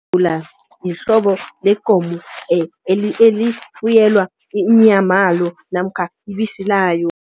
Imbevula yihlobo lekomo elifuyelwa inyamalo namkha ibisi layo.